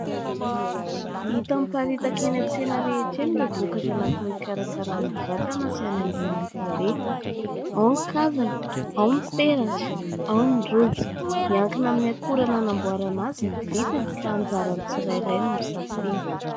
Hita miparitaka eny an-tsena rehetra eny ireo vokatra natao hikarakaràna vatana sy hanaingoina ny tarehy. Ao ny kavina, ao ny peratra, ao ny rojo. Miankina amin'ny akora nanamboarana azy ny vidiny ka anjaran'ny tsirairay no misafidy.